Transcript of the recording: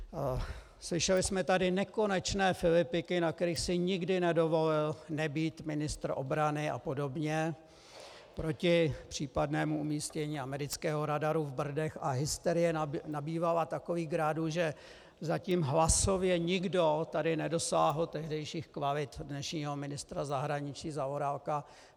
Slyšeli jsme tady nekonečné filipiky, na kterých si nikdy nedovolil nebýt ministr obrany a podobně, proti případnému umístění amerického radaru v Brdech, a hysterie nabývala takových grádů, že zatím hlasově nikdo tady nedosáhl tehdejších kvalit dnešního ministra zahraničí Zaorálka.